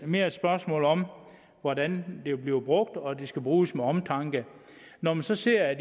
mere et spørgsmål om hvordan det bliver brugt og at det skal bruges med omtanke når man så ser at